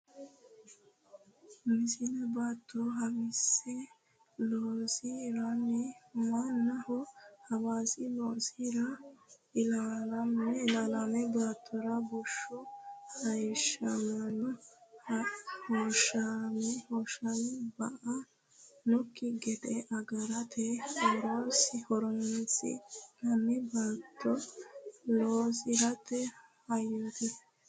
Misile Baatto haawiisse loosi ranni manna Haawiisse loosi ra ilaalaame baattora bushshu hayishshamenna hoshooshame ba annokki gede agarate horonsi nanni baatto loosi rate hayyooti.